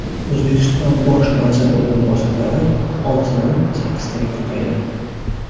O‘zbekiston bosh vaziri o‘rinbosarlari oltitadan sakkiztaga ko‘paydi.